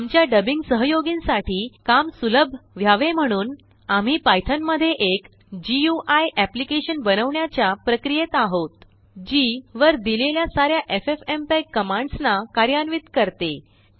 आमच्या डबिंगसहयोगींसाठी काम सुलभ व्हावे म्हणून आम्हीPython मध्येएक गुई एप्लीकेशन बनवण्याच्या प्रक्रियेत आहोत जी वर दिलेल्यासाऱ्याffmpeg कमांड्सना कार्यान्वित करते